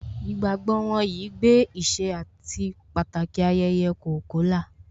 Ìgbàgbọ́ wọn yìí gbé ìṣe àti Pàtàki ayẹyẹ Kolkola